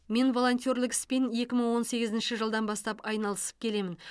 мен волонтерлік іспен екі мың он сегізінші жылдан бастап айналысып келемін